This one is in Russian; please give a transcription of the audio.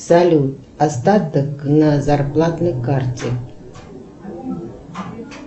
салют остаток на зарплатной карте